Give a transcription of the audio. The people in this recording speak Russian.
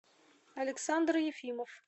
александр ефимов